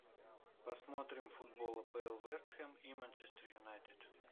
посмотрим футбол апл вест хэм и манчестер юнайтед